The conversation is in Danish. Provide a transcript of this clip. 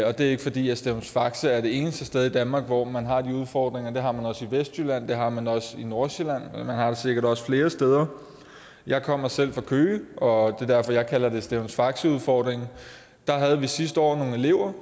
og det er ikke fordi stevns faxe er det eneste sted i danmark hvor man har de udfordringer det har man også i vestjylland og det har man også i nordsjælland og man har det sikkert også flere steder jeg kommer selv fra køge og det er derfor jeg kalder det stevns faxe udfordringen der havde vi sidste år nogle elever